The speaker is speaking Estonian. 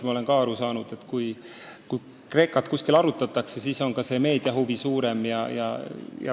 Ma olen aru saanud, et kui Kreeka probleeme kuskil arutatakse, siis on ka meedia huvi väga suur.